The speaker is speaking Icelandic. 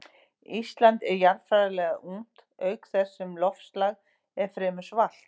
Ísland er jarðfræðilega ungt auk þess sem loftslag er fremur svalt.